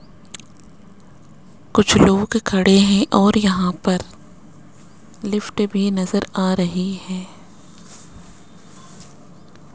कुछ लोग खड़े हैं और यहां पर लिफ्ट भी नजर आ रही है।